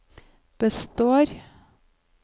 består